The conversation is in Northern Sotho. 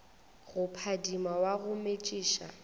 go phadima wa go metšiša